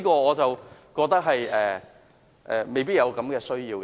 我覺得未必有此需要。